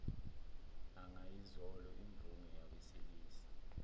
angayizolo imvunge yabesilisa